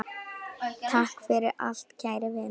Takk fyrir allt, kæri vinur.